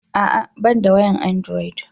A'a ban da wayan androd